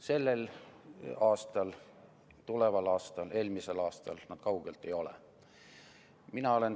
Sellel aastal, tuleval aastal, eelmisel aastal nad seda kaugeltki ei olnud ega ole.